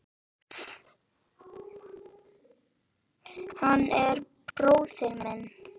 Hann er bróðir minn.